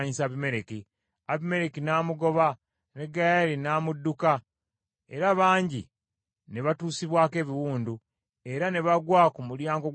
Abimereki n’amugoba, ne Gaali n’amudduka, era bangi ne batuusibwako ebiwundu, era ne bagwa ku mulyango gwa wankaaki.